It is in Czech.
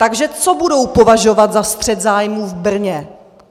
Takže co budou považovat za střet zájmů v Brně?